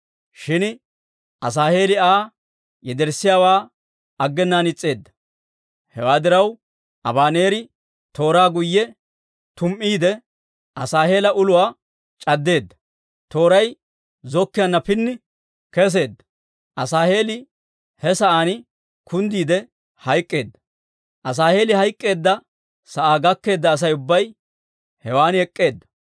Shin Asaaheeli Aa yederssiyaawaa aggenaan is's'eedda. Hewaa diraw, Abaneeri tooraa guyye tum"iide, Asaaheela uluwaa c'addeedda; tooray zokkiyaanna pini kesseedda; Asaaheeli he sa'aan kunddiide hayk'k'eedda. Asaaheeli hayk'k'eedda sa'aa gakkeedda Asay ubbay hewan ek'k'eedda.